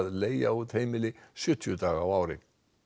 leigja út heimili sjötíu daga á ári